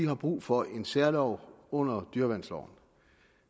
har brug for en særlov under dyreværnsloven